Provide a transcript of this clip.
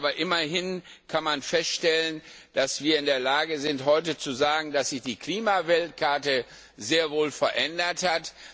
Aber immerhin kann man feststellen, dass wir heute in der Lage sind, zu sagen, dass sich die Klimaweltkarte sehr wohl verändert hat.